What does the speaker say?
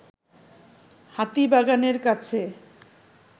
হাতিবাগানের কাছে